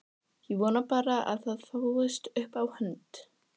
Ég vona bara að það fáist upp á hund!